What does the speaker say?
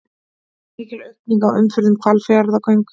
Mikil aukning á umferð um Hvalfjarðargöng